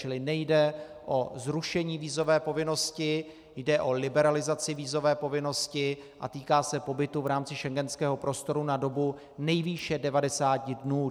Čili nejde o zrušení vízové povinnosti, jde o liberalizaci vízové povinnosti a týká se pobytu v rámci schengenského prostoru na dobu nejvýše 90 dnů.